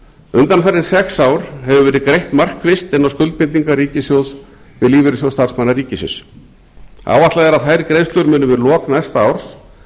undanfarin sex ár hefur verið greitt markvisst inn á skuldbindingar ríkissjóðs við lífeyrissjóð starfsmanna ríkisins áætlað er að þær greiðslur muni við lok næsta árs